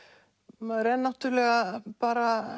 maður er náttúrulega bara